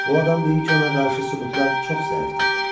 Bu adam deyir ki, ona qarşı sübutlar çox zəifdir.